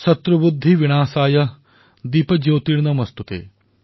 শত্ৰুবুদ্ধিবিনাশায় দ্বীপজ্যোতিৰ্নমস্তোতে